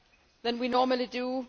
than we normally do.